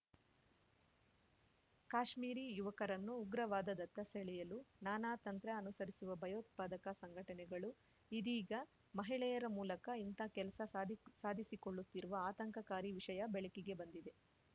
ಕಾಶ್ಮೀರಿ ಯುವಕರನ್ನು ಉಗ್ರವಾದದತ್ತ ಸೆಳೆಯಲು ನಾನಾ ತಂತ್ರ ಅನುಸರಿಸುವ ಭಯೋತ್ಪಾದಕ ಸಂಘಟನೆಗಳು ಇದೀಗ ಮಹಿಳೆಯರ ಮೂಲಕ ಇಂಥ ಕೆಲಸ ಸಾದಿಕ್ ಸಾಧಿಸಿಕೊಳ್ಳುತ್ತಿರುವ ಆತಂಕಕಾರಿ ವಿಷಯ ಬೆಳಕಿಗೆ ಬಂದಿದೆ